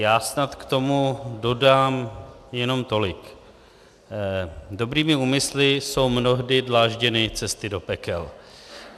Já snad k tomu dodám jenom tolik: dobrými úmysly jsou mnohdy dlážděny cesty do pekel.